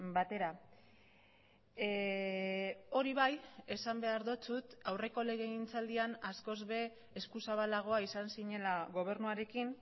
batera hori bai esan behar dizut aurreko legegintzaldian askoz ere eskuzabalagoa izan zinela gobernuarekin